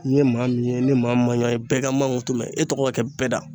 N ye maa min ye ni maa min ma ɲuwa ye bɛɛ ka n mangutu mɛn e tɔgɔ ka kɛ bɛɛ da.